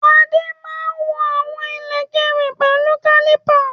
Adé máa ń wọ̀n àwọn ìlẹ̀kẹ̀ rẹ̀ pẹ̀lú kálípà